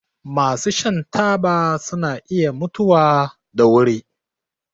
Masu shan taba suna iya mutuwa da wuri.